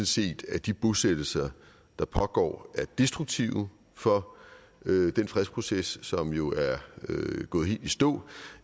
set at de bosættelser der pågår er destruktive for den fredsproces som jo er gået helt i stå